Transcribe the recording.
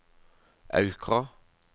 Aukra